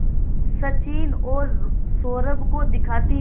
सचिन और सौरभ को दिखाती है